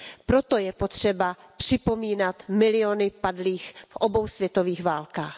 Proto je potřeba připomínat miliony padlých v obou světových válkách.